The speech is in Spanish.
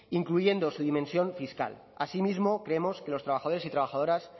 incluyendo su dimensión fiscal asimismo creemos que los trabajadores y trabajadoras